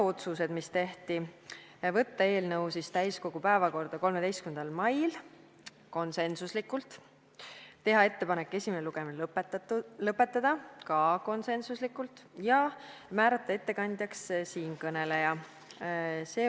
Otsused, mis tehti: võtta eelnõu täiskogu päevakorda 13. mail , teha ettepanek esimene lugemine lõpetada ja määrata ettekandjaks siinkõneleja .